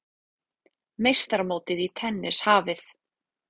Meistaramótið í tennis hafið